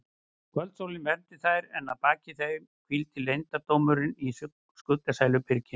Kvöldsólin vermdi þær en að baki þeim hvíldi leyndardómurinn í skuggsælu byrginu.